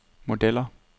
modeller